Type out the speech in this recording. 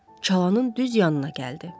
Çalanın düz yanına gəldi.